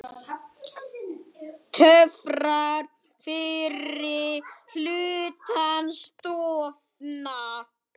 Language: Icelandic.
Töfrar fyrri hlutans dofna.